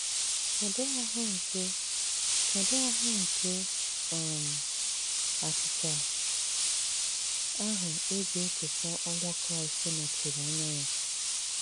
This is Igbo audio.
Kedụ ahụ́ nke Kedụ ahụ́ nke um achịcha ahụ e ji echeta ọnwụ Kraịst nọchiri anya ya?